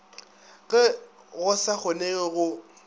ge go sa kgonege go